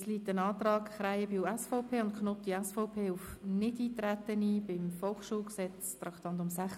Es liegt ein Antrag Krähenbühl, SVP, und Knutti, SVP, auf Nichteintreten auf die Änderung des VSG, zu Traktandum 96, vor.